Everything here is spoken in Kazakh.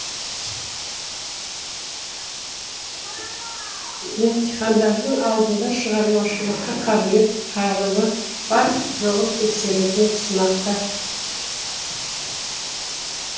емтихандардың алдында шығармашылыққа қабілет қарымы бар жоғын тексеретін сынақтар